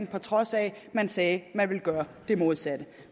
på trods af at man sagde at man ville gøre det modsatte